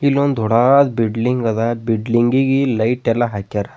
ಇಲ್ಲೋನ್ದ ದೊಡಾದ ಬಿಡ್ಲಿಂಗ್ ಅದ ಬಿಡ್ಲಿಂಗ್ ಗಿಗಿ ಲೈಟ್ ಎಲ್ಲಾ ಹಾಕ್ಯಾರ.